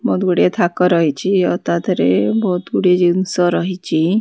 ବହୁତ ଗୁଡ଼ିଏ ଥାକ ରହିଚି ଆଉ ତା ଧେରେ ବହୁତ ଗୁଡିଏ ଜିନିଷ ରହିଚି ।